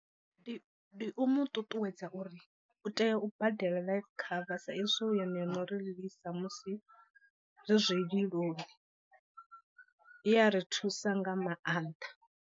Ndi ndi u mu ṱuṱuwedza uri u tea u badela life cover sa izwi hu yone yo no ri lilisa musi ri zwililoni, i ya ri thusa nga maanḓa.